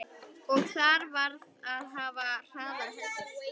Og þar varð að hafa hraðar hendur.